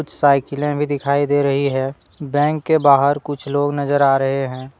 साइकिले भी दिखाई दे रही है बैंक के बाहर कुछ लोग नजर आ रहे हैं।